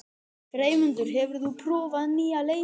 Freymundur, hefur þú prófað nýja leikinn?